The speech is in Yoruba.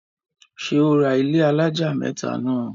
ṣé ó ra ilẹ́ alájà mẹ́tà náà?